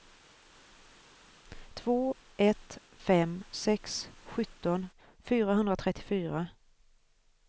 två ett fem sex sjutton fyrahundratrettiofyra